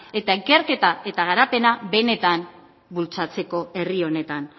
eta ikerketa eta garapena benetan bultzatzeko herri honetan